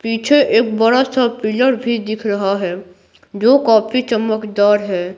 पीछे एक बड़ा सा पिलर भी दिख रहा है जो काफी चमकदार है।